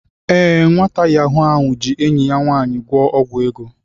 Ee, nwata Yahoo ahụ ji enyi ya nwanyi gwo ogwu ego.